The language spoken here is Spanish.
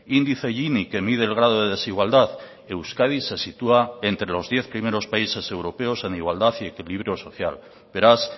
índice gini que mide el grado de desigualdad euskadi se sitúa entre los diez primeros países europeos en igualdad y equilibrio social beraz